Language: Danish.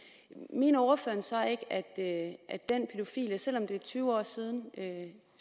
mener ordføreren så ikke at den pædofile selv om det er tyve år siden